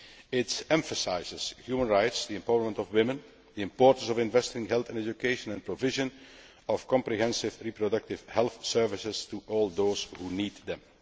It emphasises human rights, the empowerment of women, the importance of investing in health and education and the provision of comprehensive reproductive health services to all those who need them.